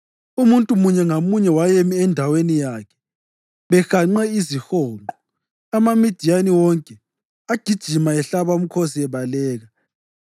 Umuntu munye ngamunye wayemi endaweni yakhe behanqe izihonqo, amaMidiyani wonke agijima, ehlaba umkhosi ebaleka.